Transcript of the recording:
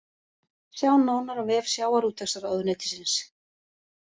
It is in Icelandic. Sjá nánar á vef sjávarútvegsráðuneytisins